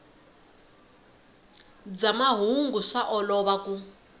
bya mahungu swa olova ku